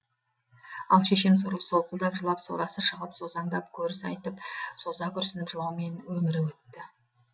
ал шешем сорлы солқылдап жылап сорасы шығып созаңдап көріс айтып соза күрсініп жылаумен өмірі өтті